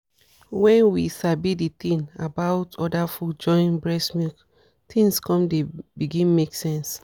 correct info about other food suppose reach every house no be only parents wey parents wey no too sabi anything.